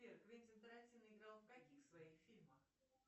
сбер квентин тарантино играл в каких своих фильмах